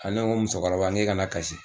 A ne ko musokɔrɔb i kana kasi